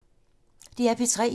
DR P3